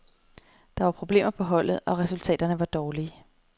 Der var problemer på holdet, og resultaterne var dårlige.